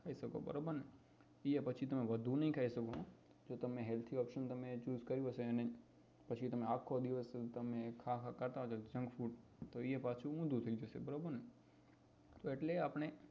ખાઈ શકો બરોબર ને એય તમે પાછું વધુ ના ખાઈ શકો હા જો તમે healthy option choose કર્યો છે અને પછી તમે આખો દિવસ ખા ખા કરતા હોય junk food તો એ પાછું ઊંધું થઇ જશે બરોબર ને તો એટલે આપણે